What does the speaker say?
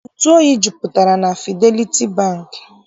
Ntụ oyi jupụtara na Fideliti Bankị.